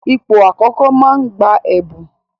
Ipò àkọ́kọ́ máa ń gba ẹ̀bùn.